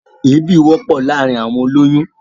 Èébì wọ́pọ̀ láàárín àwọn olóyún.